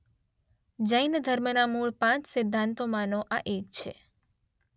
જૈન ધર્મના મૂળ પાંચ સિદ્ધાંતોમાંનો આ એક છે.